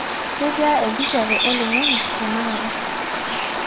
kejaa enkijape olaing; ang;e tenakata